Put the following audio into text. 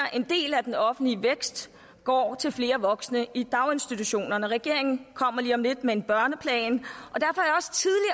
at af den offentlige vækst går til flere voksne i daginstitutionerne regeringen kommer lige om lidt med en børneplan